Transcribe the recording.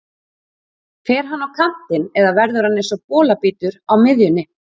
Fer hann á kantinn eða verður hann eins og bolabítur á miðjunni?